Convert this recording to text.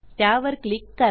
त्यावर क्लिक करा